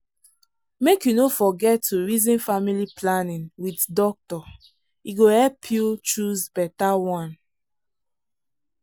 make you no forget to reason family planning with doctor e go help you choose better one.